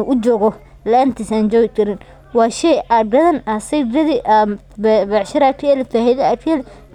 u guriga ujogo laantisa an jogi karin waa shey aa sigadi becshira aad kaheli aad si gadhi.